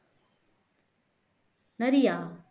நரியா